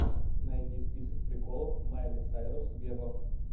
найди список приколов майли сайрус вево